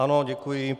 Ano, děkuji.